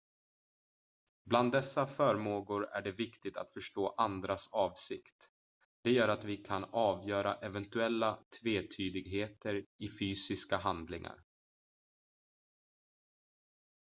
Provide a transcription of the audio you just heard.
bland dessa förmågor är det viktigt att förstå andras avsikt det gör att vi kan avgöra eventuella tvetydigheter i fysiska handlingar